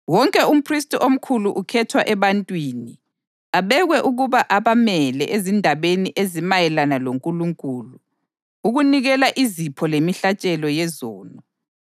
Wonke umphristi omkhulu ukhethwa ebantwini abekwe ukuba abamele ezindabeni ezimayelana loNkulunkulu, ukunikela izipho lemihlatshelo yezono.